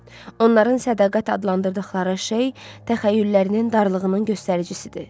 Onların sədaqət adlandırdıqları şey təxəyyüllərinin darlığının göstəricisidir.